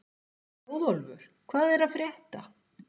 Þjóðólfur, hvað er að frétta?